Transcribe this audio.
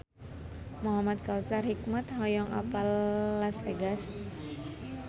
Muhamad Kautsar Hikmat hoyong apal Las Vegas